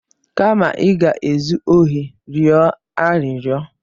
Kama ị ga-ezu ohi, rịọ arịrịọ!